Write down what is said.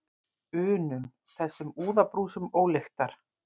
unum, þessum úðabrúsum ólyktar.